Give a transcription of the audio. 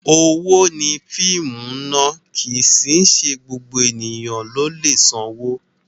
Owó ni fíìmù ná, kì í sì í ṣe gbogbo ènìyàn ló lè sanwó.